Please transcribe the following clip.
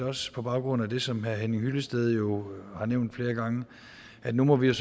også på baggrund af det som herre henning hyllested har nævnt flere gange at nu må vi i